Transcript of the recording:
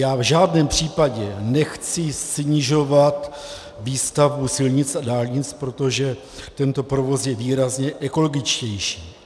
Já v žádném případě nechci snižovat výstavbu silnic a dálnic, protože tento provoz je výrazně ekologičtější.